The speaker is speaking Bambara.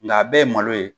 Nka a bɛɛ ye malo ye